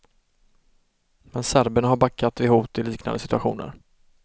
Men serberna har backat vid hot i liknande situationer.